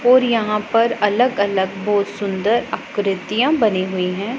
और यहां पर अलग अलग बहोत सुंदर आकृतियां बनी हुई हैं।